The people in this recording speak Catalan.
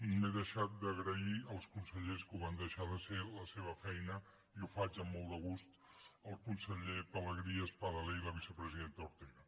m’he deixat d’agrair als consellers que ho van deixar de ser la seva feina i ho faig amb molt de gust als consellers pelegrí espadaler i a la vicepresidenta ortega